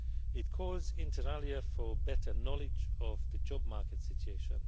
It calls, inter alia, for better knowledge of the job market situation.